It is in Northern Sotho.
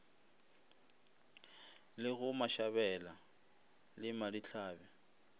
le go mashabela le madihlabe